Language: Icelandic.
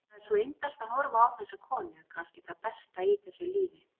Það er svo indælt að horfa á þessa konu, kannski það besta í þessu lífi.